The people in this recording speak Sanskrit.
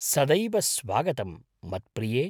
सदैव स्वागतं मत्प्रिये!